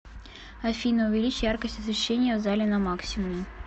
афина увеличь яркость освещения в зале на максимум